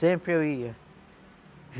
Sempre eu ia.